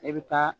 E bɛ taa